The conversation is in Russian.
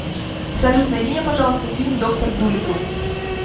салют найди мне пожалуйста фильм доктор дулиттл